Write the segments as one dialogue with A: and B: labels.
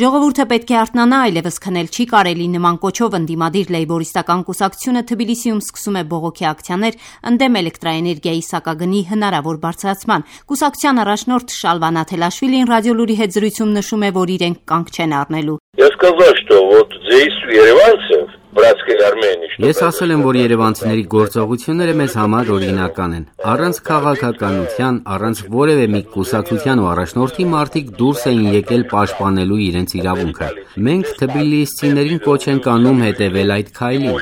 A: «Ժողովուրդը պետք է արթնանա: Այլևս քնել չի կարելի». նման կոչով ընդդիմադիր Լեյբորիստական կուսակցությունը Թբիլիսիում սկսում է բողոքի ակցիաներ՝ ընդդեմ էլեկտրաէներգիայի սակագնի հնարավոր բարձրացման: Կուսակցության առաջնորդ Շալվա Նաթելաշվիլին «Ռադիոլուր»-ի հետ զրույցում նշում է, որ իրենք կանգ չեն առնելու.
B: «Ես ասել եմ, որ երևանցիների գործողությունները մեզ համար օրինակ են։ Առանց քաղաքականության, առանց որևէ մի կուսակցության ու առաջնորդի մարդիկ դուրս էին եկել պաշտպանելու իրենց իրավունքը: Մենք թբիլիսցիներին կոչ ենք անում հետևել այդ քայլին»: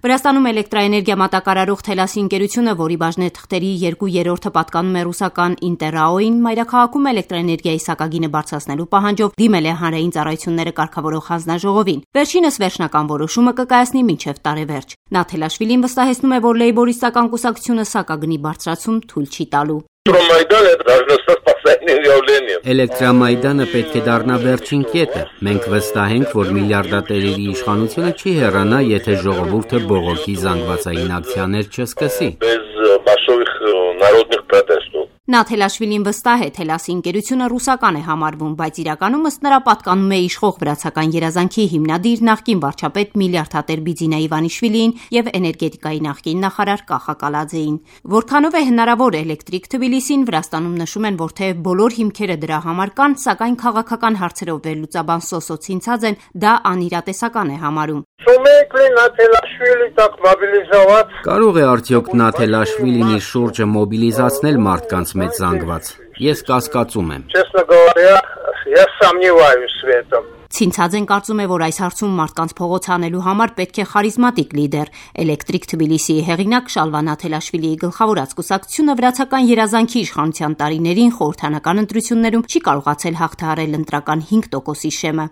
A: Վրաստանում էլեկտրաէներգիա մատակարարող «Թելասի» ընկերությունը, որի բաժնեթղթերի երկու երրորդը պատկանում է ռուսական «ԻՆՏԵՐ ՌԱՕ»-ին, մայրաքաղաքում էլեկտրաէներգիայի սակագինը բարձրացնելու պահանջով դիմել է Հանրային ծառայությունները կարգավորող հանձնաժողովին: Վերջինս վերջնական որոշումը կկայացնի մինչև տարեվերջ: Նաթելաշվիլին վստահեցնում է, որ Լեյբորիստական կուսակցությունը սակագնի բարձրացում թույլ չի տալու.
B: «Էլեկտրոմայդանը պետք է դառնա վերջին կետը: Մենք վստահ ենք, որ միլիարդատերի իշխանությունը չի հեռանա, եթե ժողովուրդը բողոքի զանգվածային ակցիաներ չսկսի»:
A: Նաթելաշվիլին վստահ է՝ «Թելասի» ընկերությունը ռուսական է համարվում, բայց իրականում, ըստ նրա, պատկանում է իշխող «Վրացական երազանք»-ի հիմնադիր, նախկին վարչապետ, միլիարդատեր Բիձինա Իվանիշվիլիին և էներգետիկայի նախկին նախարար Կախա Կալաձեին: Որքանով է հնարավոր «էլեկտրիկ Թբիլիսին», Վրաստանում նշում են, որ թեև բոլոր հիմքերը դրա համար կան, սակայն քաղաքական հարցերով վերլուծաբան Սոսո Ցինցաձեն դա անիրատեսական է համարում. «Կարո՞ղ
B: է արդյոք Նաթելաշվիլին իր շուրջը մոբիլիզացնել մարդկանց մեծ զանգված։ Ես կասկածում եմ»:
A: Ցինցաձեն կարծում է, որ այս հարցում մարդկանց փողոց հանելու համար պետք է խարիզմատիկ լիդեր: «Էլեկտրիկ Թբիլիսիի» հեղինակ Շալվա Նաթելաշվիլիի գլխավորած կուսակցությունը «Վրացական երազանք»-ի իշխանության տարիներին խորհրդարանական ընտրություններում չի կարողացել հաղթահարել ընտրական հինգ տոկոսի շեմը: